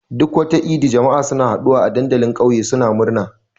Duk wata idi, jama'a suna haɗuwa a dandalin ƙauye suna murna.